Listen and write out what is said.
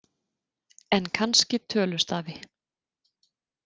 En kannski tölustafi.